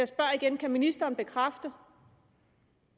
spørger igen kan ministeren bekræfte